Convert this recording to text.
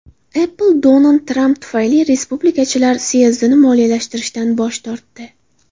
Apple Donald Tramp tufayli respublikachilar syezdini moliyalashtirishdan bosh tortdi.